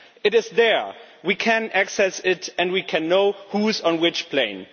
It is there, we can access it and we can know who is on which plane.